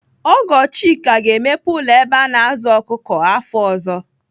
Ọgọ Chika ga-emepe ụlọ ebe a na-azụ ọkụkọ afọ ọzọ.